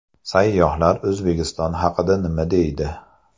Sayyohlar O‘zbekiston haqida nima deydi?.